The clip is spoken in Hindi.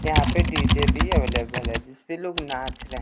यहां पे डी_जे भी अवेलेबल है जिसपे लोग नाच रहे है।